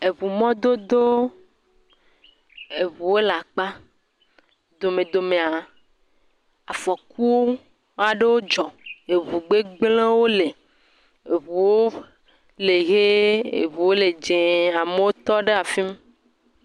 Eŋumɔdodo. Eŋuwo le akpa. Domedomea afɔku aɖowo dzɔ. Eŋu gbegble ɖewo li. Eŋuwo le ʋie, eŋuwo le dze. Amewo tɔ ɖe afim